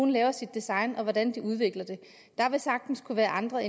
laver sit design og hvordan de udvikler det der vil sagtens kunne være andre